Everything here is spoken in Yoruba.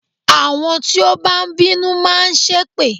Àwọn tí ó bá ń bínú máa ṣépè